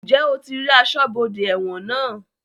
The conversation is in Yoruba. Ǹjẹ́ o ti rí aṣọ́bodè ẹ̀wọ̀n náà?